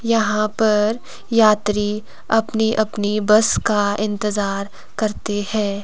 यहां पर यात्री अपनी अपनी बस का इंतजार करते है।